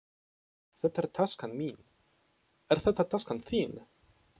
Þetta er taskan mín. Er þetta taskan þín?